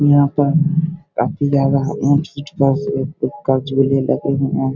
यहाँ पर काफ़ी ज्यादा --